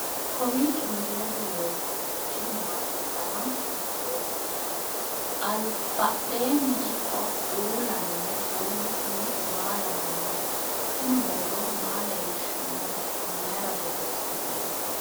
kowiicho misilete leellanorichi maati ? dana hiittooho ?abadhhenni ikko uulla noohu kuulu kuni maa lawannoho? tini boorro maa leellishannote mayra borreessinoonite